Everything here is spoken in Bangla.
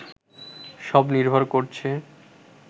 সব নির্ভর করছে